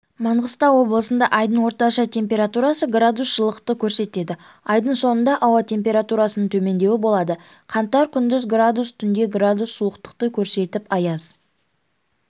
маңғыстау облысында айдың орташа температурасы градус жылылықты көрсетеді айдың соңында ауа температурасының төмендеуі болады қаңтар күндіз градус түнде градус суықтықты көрсетіп аяз